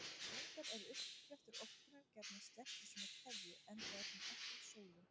Reyndar er uppsprettu orkunnar gjarnan sleppt í svona keðju, enda er hún alltaf sólin.